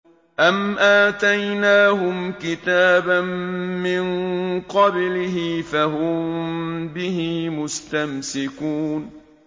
أَمْ آتَيْنَاهُمْ كِتَابًا مِّن قَبْلِهِ فَهُم بِهِ مُسْتَمْسِكُونَ